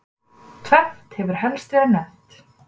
tvennt hefur helst verið nefnt